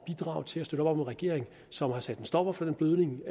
bidrage til at støtte op om en regering som har sat en stopper for den blødning